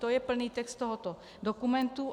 To je plný text tohoto dokumentu.